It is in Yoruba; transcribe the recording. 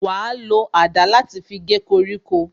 Wa lo àdá láti fi gé koríko